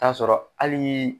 Ta sɔrɔ halii.